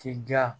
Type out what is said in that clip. K'i diya